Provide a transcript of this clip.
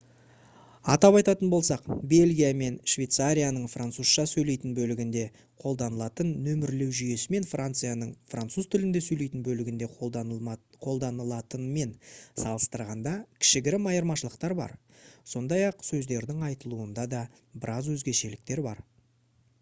атап айтатын болсақ бельгия мен швейцарияның французша сөйлейтін бөлігінде қолданылатын нөмірлеу жүйесі мен францияның француз тілінде сөйлейтін бөлігінде қолданылатынмен салыстырғанда кішігірім айырмашылықтар бар сондай-ақ сөздердің айтылуында да біраз өзгешеліктер бар